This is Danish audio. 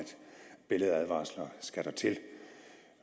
billedadvarsler skal der til